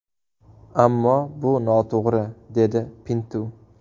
Ammo bu noto‘g‘ri”, - dedi Pintu.